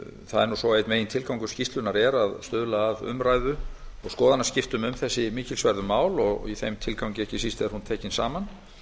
það er nú svo að einn megintilgangur skýrslunnar er að stuðla að umræðu og skoðanaskiptum um þessi mikilsverðu mál og í þeim tilgangi ekki síst er hún tekin saman